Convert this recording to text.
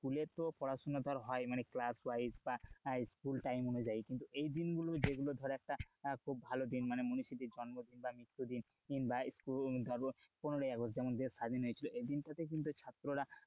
স্কুলে তো পড়াশোনা ধর হয় class wise বা স্কুল টাইম অনু যায়, কিন্তু এই দিনগুলো যেগুলো ধর একটা খুব ভালো দিন জন্মদিন বা মৃত্যুদিন কিংবা পনের আগস্ট যেমন দেশ স্বাধীন হয়েছিল এই দিন তাতে কিন্তু ছাত্ররা,